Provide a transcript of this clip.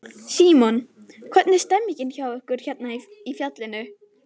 Símon: Hvernig er stemningin hjá ykkur hérna í fjallinu?